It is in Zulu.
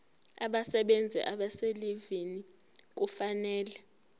abasebenzi abaselivini kufanele